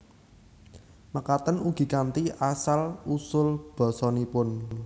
Mekaten ugi kanthi asal usul basanipun